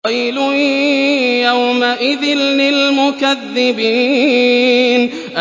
وَيْلٌ يَوْمَئِذٍ لِّلْمُكَذِّبِينَ